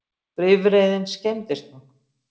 Bifreiðin skemmdist nokkuð